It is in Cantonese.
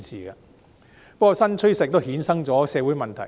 不過，新趨勢亦衍生出社會問題。